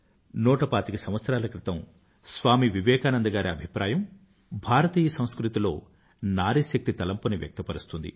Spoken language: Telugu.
నూటపాతిక సంవత్సరాల క్రితం స్వామీ వివేకానంద గారి అభిప్రాయం భారతీయ సంస్కృతిలో నారీశక్తి తలంపుని వ్యక్తపరుస్తుంది